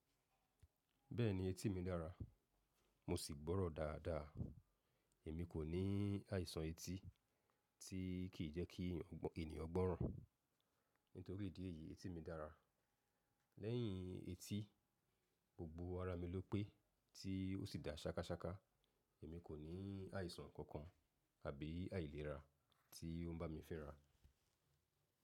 Bẹ́ẹ̀ni etí mi dára, mo sì gbọ́rọ̀ dáadáa. Èmi kò ní àìsàn etí tí kì í jẹ́ kí ènìyàn gbọ́ràn. Nítorí ìdí èyí etí mi dára. Lẹ́yìn etí, gbogbo ara mi ló pé tí ó sì dà ṣákaṣáka. Èmi kò ní àìsàn kankan àbí àìlera tí ó ń bá mi fínra.